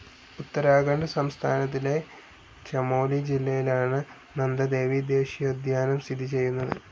ഉത്തരാഖണ്ഡ് സംസ്ഥാനത്തിലെ ചമോലി ജില്ലയിലാണ് നന്ദദേവി ദേശീയോദ്യാനം സ്ഥിതി ചെയ്യുന്നത്